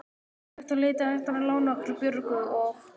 Um þetta leyti hætti hann að lána okkur Björgu og